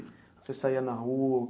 Você saía na rua?